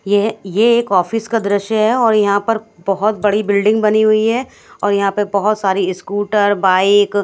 यह ये एक ऑफिस का दृश्य है और यहां पर बहोत बड़ी बिल्डिंग बनी हुई है और यहां पे बहोत सारी ईस्कूटर बाइक --